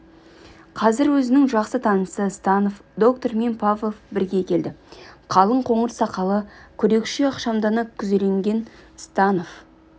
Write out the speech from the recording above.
қазір өзінің жақсы танысы станов доктормен павлов бірге келді қалың қоңыр сақалы күрекше ықшамдана күзелген станов